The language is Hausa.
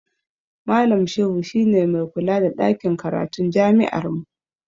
Malam Shehu shi ne mai kula da ɗakin karatun jami'armu.